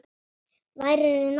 Værirðu nokkuð.